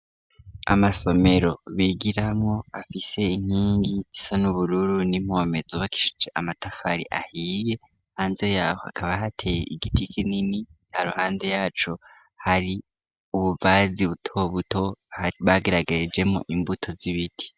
Amasomero bigiramwo afise inkingi isa n'ubururu ni mpomeza bakishije amatafari ahiye hanze yaho akaba hateye igiti kinini haruhande yaco hari ubuvazi butobuto haribageragaye jemo imbuto z'ibiti.